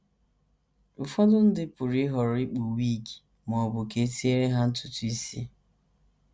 Ụfọdụ ndị pụrụ ịhọrọ ikpu wig ma ọ bụ ka e tinyere ha ntutu isi.